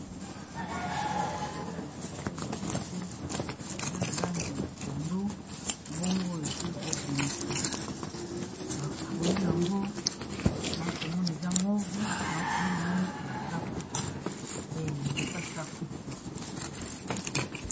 awa komona nzete nzete eza na langi ya pondu bongo esili kobimisa bafui yango na komona eza move nao komona mgo neti basafue nzete asafu